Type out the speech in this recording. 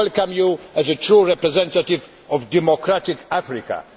We welcome you as a true representative of a democratic Africa.